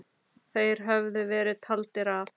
Þeir höfðu verið taldir af.